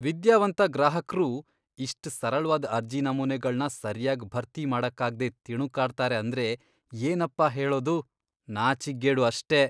ವಿದ್ಯಾವಂತ ಗ್ರಾಹಕ್ರೂ ಇಷ್ಟ್ ಸರಳ್ವಾದ್ ಅರ್ಜಿ ನಮೂನೆಗಳ್ನ ಸರ್ಯಾಗ್ ಭರ್ತಿ ಮಾಡಕ್ಕಾಗ್ದೇ ತಿಣುಕಾಡ್ತಾರೆ ಅಂದ್ರೆ ಏನಪ್ಪಾ ಹೇಳೋದು, ನಾಚಿಕ್ಗೇಡು ಅಷ್ಟೇ!